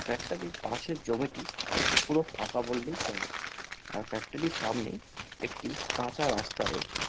Factory র পাশের জমিটি পুরো ফাঁকা বললেই চলে আর ফ্যাক্টরি র সামনে একটি কাঁচা রাস্তা রয়েছে।